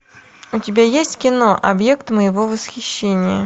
у тебя есть кино объект моего восхищения